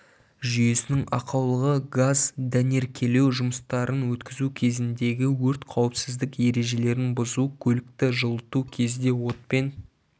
жүйесінің ақаулығы газ дәнеркелеу жұмыстарын өткізу кезіндегі өрт қауіпсіздік ережелерін бұзу көлікті жылыту кезде отпен